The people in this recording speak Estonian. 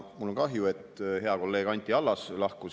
Mul on kahju, et hea kolleeg Anti Allas lahkus.